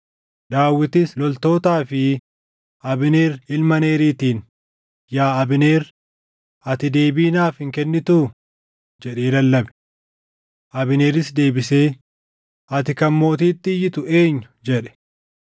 Daawitis loltootaa fi Abneer ilma Neeriitiin, “Yaa Abneer, ati deebii naaf hin kennituu?” jedhee lallabe. Abneeris deebisee, “Ati kan mootiitti iyyitu eenyu?” jedhe.